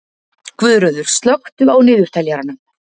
Guðröður, slökktu á niðurteljaranum.